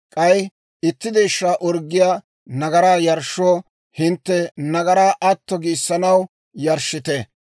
K'ay itti deeshshaa orggiyaa nagaraa yarshshoo, hintte nagaraa atto giissanaw yarshshite.